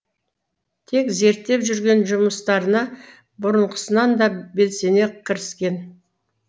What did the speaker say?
тек зерттеп жүрген жұмыстарына бұрынғысынан да белсене кіріскен